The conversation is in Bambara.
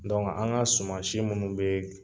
an ka suman si munnu be